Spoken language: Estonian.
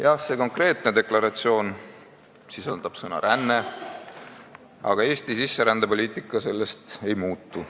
Jah, see konkreetne deklaratsioon sisaldab sõna "ränne", aga Eesti sisserändepoliitika sellest ei muutu.